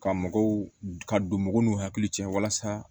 Ka mɔgɔw ka don mɔgɔw n'u hakili cɛ walasa